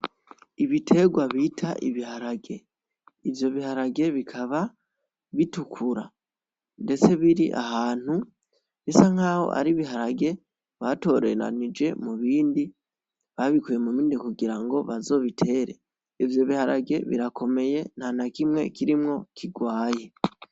Ibiterwa bita ibiharage ivyo biharage bikaba bitukura ndetse biri ahantu bisa nkaho ari ibiharage batoreranije mu bindi babikuye mu bindi kugirango bazobitere ivyo biharage birakomeye nta nakimwe kirimwo kirwaye.